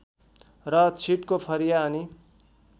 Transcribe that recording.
र छिटको फरिया अनि